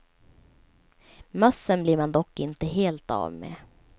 Mössen blir man dock inte helt av med.